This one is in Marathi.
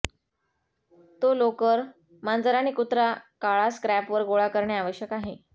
तो लोकर मांजर आणि कुत्रा काळा स्क्रॅपवर गोळा करणे आवश्यक आहे